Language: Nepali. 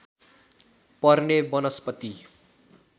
पर्ने वनस्पति